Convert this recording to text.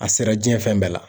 A sera diɲɛ fɛn bɛɛ la.